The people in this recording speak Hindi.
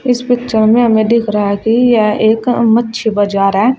इस पिक्चर में हमें दिख रहा है कि यह एक मच्छी बाजार है।